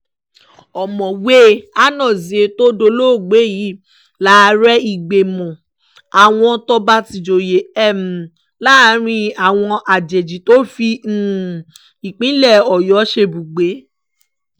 ọ̀mọ̀wé anozie tó dolóògbé yìí láàrẹ ìgbìmọ̀ àwọn tọba tijọye um láàrin àwọn ajèjì tó fi um ìpínlẹ̀ ọ̀yọ́ ṣebùgbé